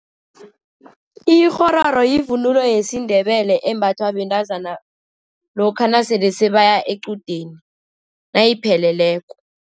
Ikghororo yivunulo yesiNdebele embathwa bentazana lokha nasele sebaya equdeni, nayipheleleko.